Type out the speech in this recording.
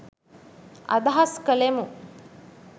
අදහස් කළෙමු.